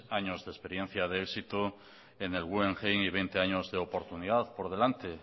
años de experiencia de éxito en el guggenheim y veinte años de oportunidad por delante